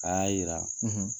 A y'a yira